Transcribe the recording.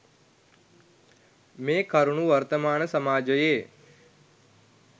මේ කරුණු වර්තමාන සමාජයේ